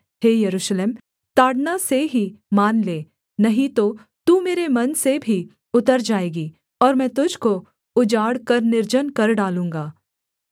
हे यरूशलेम ताड़ना से ही मान ले नहीं तो तू मेरे मन से भी उतर जाएगी और मैं तुझको उजाड़ कर निर्जन कर डालूँगा